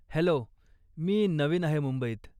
Hello, मी नवीन आहे मुंबईत.